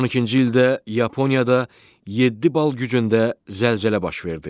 2012-ci ildə Yaponiyada 7 bal gücündə zəlzələ baş verdi.